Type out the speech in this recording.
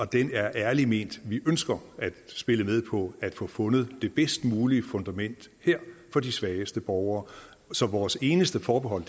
den er ærligt ment vi ønsker at spille med på at få fundet det bedst mulige fundament her for de svageste borgere så vores eneste forbehold